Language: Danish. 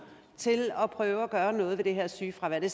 til at prøve at gøre noget ved det her sygefravær det